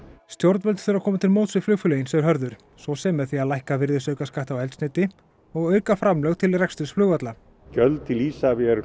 stjórnvöld þurfa að koma til móts við flugfélögin segir Hörður svo sem með því að lækka virðisaukaskatt á eldsneyti og auka framlög til reksturs flugvalla gjöld til Isavia eru